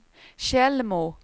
Tjällmo